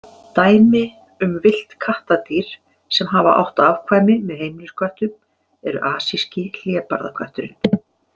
Dæmi um villt kattardýr sem hafa átt afkvæmi með heimilisköttum eru asíski hlébarðakötturinn.